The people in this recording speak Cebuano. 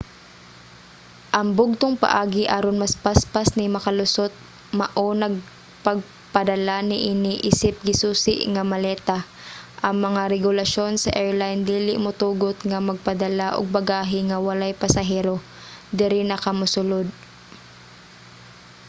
ang bugtong paagi aron mas paspas ni makalusot mao nag pagpadala niini isip gisusi nga maleta. ang mga regulasyon sa airline dili motugot nga magpadala og bagahe nga walay pasahero diri na ka mosulod